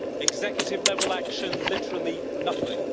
executive-level action, literally nothing